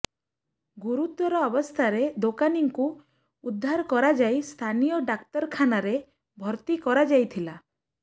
ଗୁରୁତର ଅବସ୍ଥାରେ ଦୋକାନୀଙ୍କୁ ଉଦ୍ଧାର କରାଯାଇ ସ୍ଥାନୀୟ ଡାକ୍ତରଖାନାରେ ଭର୍ତ୍ତି କରାଯାଇଥିଲା